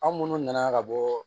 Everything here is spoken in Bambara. An minnu nana ka bɔ